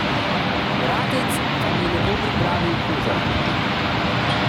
Bratec vam je lepo pripravil uvod.